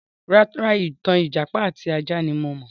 Rárá, ìtàn ìjàpá àti ajá ní mo mọ̀.